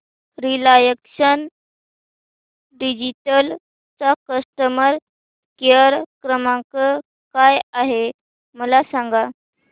Reliance digital चा customer care क्रमांक काय आहे मला सांगा